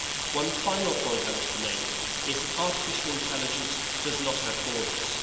One final point I wish to make is that artificial intelligence does not have borders.